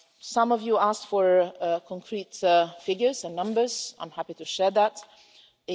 Some of you asked for concrete figures and numbers and I'm happy to share these.